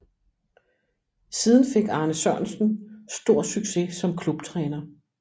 Siden fik Arne Sørensen stor succes som klubtræner